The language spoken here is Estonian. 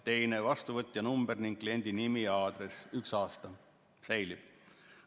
Teine, vastuvõtja number ning kliendi nimi ja aadress, üks aasta säilib.